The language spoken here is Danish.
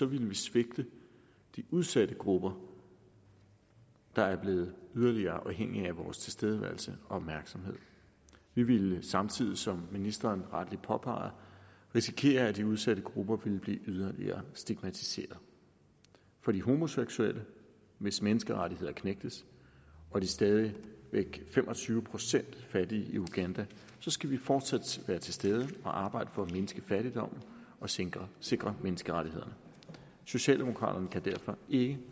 ville vi svigte de udsatte grupper der er blevet yderligere afhængige af vores tilstedeværelse og opmærksomhed vi ville samtidig som ministeren rettelig påpeger risikere at de udsatte grupper ville blive yderligere stigmatiseret for de homoseksuelle hvis menneskerettigheder knægtes og de stadig væk fem og tyve procent fattige i uganda skal vi fortsat være til stede og arbejde for at mindske fattigdommen og sikre sikre menneskerettighederne socialdemokraterne kan derfor ikke